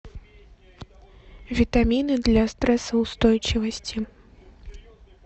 витамины для стрессоустойчивости